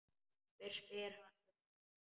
Hver spyr um hana?